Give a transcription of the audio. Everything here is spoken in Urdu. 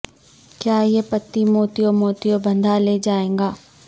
کیا یہ پتی موتیوں موتیوں باندھا لے جائے گا